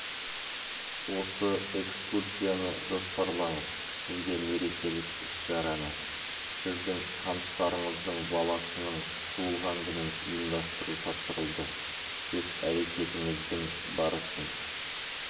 осы экскурсияны жоспарлаңыз сізге мерекелік іс-шараны сіздің таныстарыңыздың баласының туылған күнін ұйымдастыру тапсырылды өз әрекетіңіздің барысын